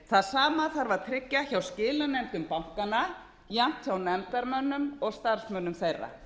það sama þarf að tryggja hjá skilanefndum bankanna jafnt hjá nefndarmönnum og starfsmönnum þeirra